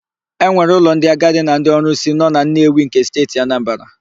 E nwere ụlọ ndị agadi na ndị ọrụsị nọ na Nnewi nke Steeti Anambara.